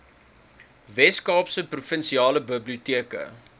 weskaapse provinsiale biblioteke